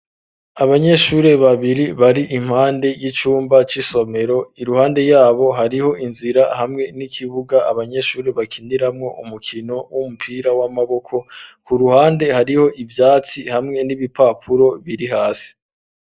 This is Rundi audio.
Abanyeshuri babiri bari impande y'icumba c'isomero iruhande yabo hariho inzira hamwe n'ikibuga abanyeshuri bakiniramwo umukino w'umupira w'amaboko ku ruhande hariho ivyatsi hamwe n'ibipapuro biri hasi.